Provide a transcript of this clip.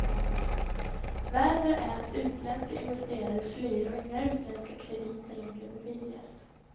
Värre är att utländska investerare flyr och inga utländska krediter längre beviljas.